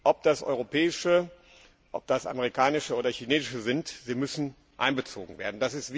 Ob das europäische, ob das amerikanische oder chinesische sind sie müssen einbezogen werden.